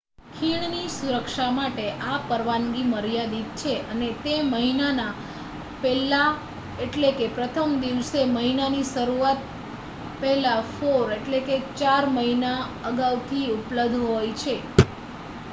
ખીણની સુરક્ષા માટે આ પરવાનગી મર્યાદિત છે અને તે મહિના ના 1 st એટલે કે પ્રથમ દિવસે મહિના ની શરૂઆત પહેલા four એટલે કે ચાર મહિના અગાઉ થી ઉપલ્બધ હોય છે